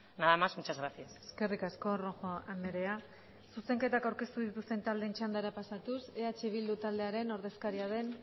nada más muchas gracias eskerrik asko rojo andrea zuzenketak aurkeztu dituzten taldeen txandara pasatuz eh bildu taldearen ordezkaria den